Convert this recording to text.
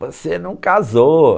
Você não casou.